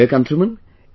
My dear countrymen,